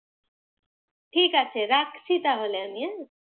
ঠিকাছে, রাখছি তাহলে আমি, হ্যাঁ।